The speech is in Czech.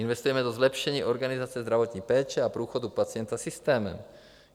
Investujeme do zlepšení organizace zdravotní péče a průchodu pacienta systémem.